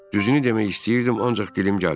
Düzünü demək istəyirdim, ancaq dilim gəlmirdi.